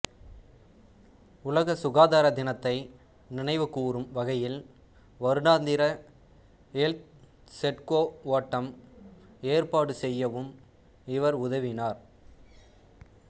உலக சுகாதார தினத்தை நினைவுகூரும் வகையில் வருடாந்திர எல்த்து செட்கோ ஓட்டம் ஏற்பாடு செய்யவும் இவர் உதவினார்